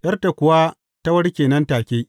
’Yarta kuwa ta warke nan take.